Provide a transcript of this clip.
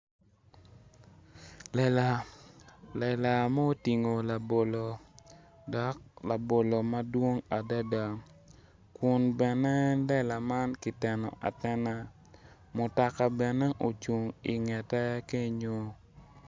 Lela ma otingo labolo, dok labolo madwong adada, kun en lela man kiteno atena mutoka bene ocung ingete kenyo.